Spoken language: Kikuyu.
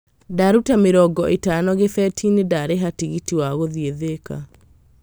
Ndaruta mĩrongo ĩtano gĩbeti-inĩ ndarĩha tigiti wa gũthiĩ Thĩka.